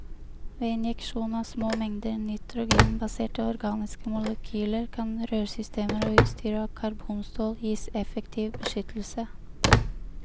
Ved injeksjon av små mengder nitrogenbaserte organiske molekyler kan rørsystemer og utstyr av karbonstål gis effektiv beskyttelse.